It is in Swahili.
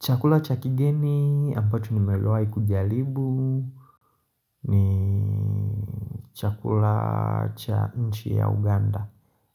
Chakula cha kigeni ambacho ni mewai kujalibu ni chakula cha nchi ya Uganda